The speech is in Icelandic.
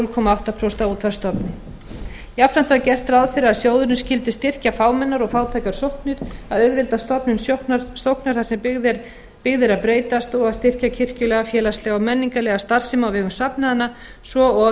núll komma áttatíu prósent af útsvarsstofni jafnframt var gert ráð fyrir að sjóðurinn skyldi styrkja fámennar og fátækar sóknir að auðvelda stofnun sóknar þar sem byggð er að breytast og að styrkja kirkjulega félagslega og menningarlega starfsemi á vegum safnaðanna svo og